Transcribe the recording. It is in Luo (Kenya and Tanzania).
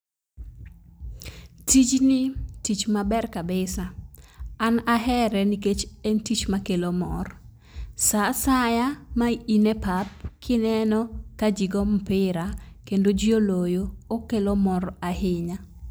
Tijni tich maber kabisa. An ahere nikech en tich makelo mor. Saa asaya ma in e pap kineno ka jii goo mpira kendo jii oloyo okelo mor ahinya.